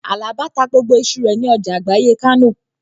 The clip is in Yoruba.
Àlàbá ta gbogbo iṣu rẹ̀ ní ọjà àgbáyé Kánò